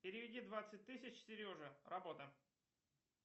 переведи двадцать тысяч сереже работа